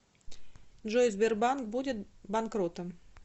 джой сбербанк будет банкротом